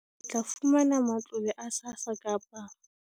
O tla fumana matlole a SASSA kapa